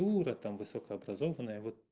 дура там высокообразованная вот